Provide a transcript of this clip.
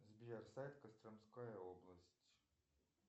сбер сайт костромская область